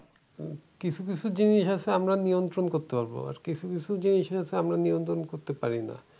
কিছু কিছু জিনিস আছে আমরা নিয়ন্ত্রণ পারবো। আর কিছু কিছু জিনিস আছে আমরা নিয়ন্ত্রণ করতে পারি না।